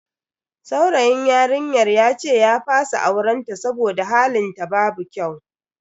Saurayin yarinyar yace ya fasa auren ta saboda halin ta babu kyau.